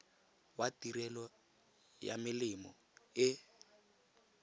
wa tirelo ya melemo e